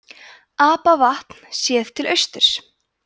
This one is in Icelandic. apavatn séð til austurs